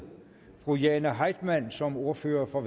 fru jane heitmann som ordfører for